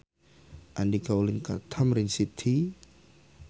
Andika ulin ka Tamrin City